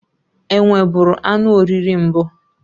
Enwe bụrụ anụ oriri mbụ.